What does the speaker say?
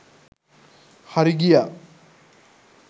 හරි ගියා.